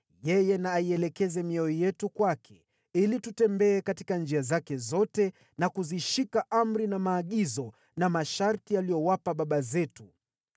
Yeye na aielekeze mioyo yetu kwake, ili tutembee katika njia zake zote na kuzishika amri na maagizo na masharti aliyowapa baba zetu.